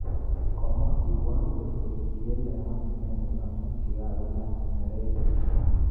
Komwa kirwogindet kole kiielewan inendet amu kokakolaany neregek